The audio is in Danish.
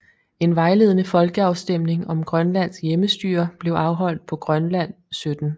En vejledende folkeafstemning om grønlandsk hjemmestyre blev afholdt på Grønland 17